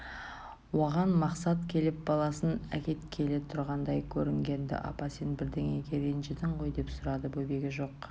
оған мақсат келіп баласын әкеткелі тұрғандай көрінген-ді апа сен бірдеңеге ренжідің ғой деп сұрады бөбегі жоқ